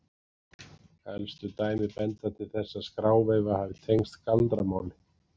Elstu dæmi benda til þess að skráveifa hafi tengst galdramáli.